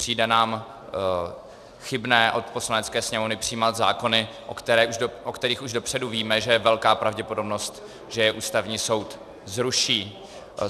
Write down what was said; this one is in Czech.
Přijde nám chybné od Poslanecké sněmovny přijímat zákony, o kterých už dopředu víme, že je velká pravděpodobnost, že je Ústavní soud zruší.